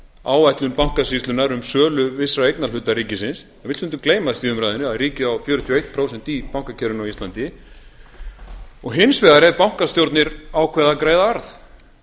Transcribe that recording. áætlun bankasýslunnar um sölu vissra eignarhluta ríkisins það vill stundum gleymast í umræðunni að ríkið á fjörutíu og eitt prósent í bankakerfinu á íslandi en hins vegar eru bankastjórnir ákveða að greiða arð